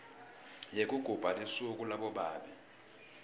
yekugubha lusuku labobabe